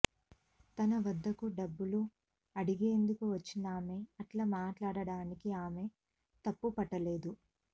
తన వద్దకు డబ్బులు అడిగేందుకు వచ్చినామె అట్లా మాట్లాడటాన్ని ఆమె తప్పు పట్ట లేదు